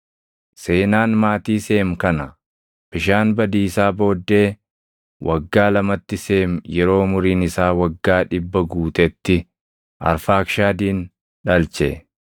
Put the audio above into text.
Seenaan maatii Seem kana. Bishaan badiisaa booddee waggaa lamatti Seem yeroo umuriin isaa waggaa 100 guutetti Arfaakshadin dhalche.